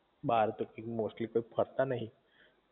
બાર તો એમ મોસ્ટલી કોઈ ફરતા નઇ